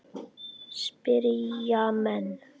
spyrja menn.